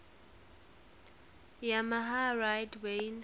yamaha rider wayne